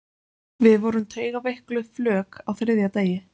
Við vorum taugaveikluð flök á þriðja degi.